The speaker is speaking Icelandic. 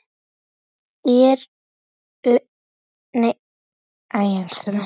Er hann að því?